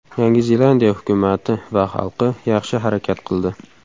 Yangi Zelandiya hukumati va xalqi yaxshi harakat qildi.